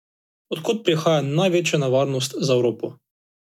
Od kod prihaja največja nevarnost za Evropo?